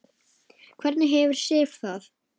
Hvernig hefur Sif það?